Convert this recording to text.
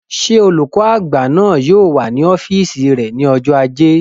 Ṣé olùkọ́ àgbà náà yóò wà ní ọ́fìsì rẹ̀ ní ọjọ́ ajé